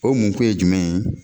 O mun kun ye jumɛn ye